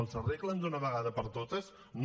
els arreglen d’una vegada per totes no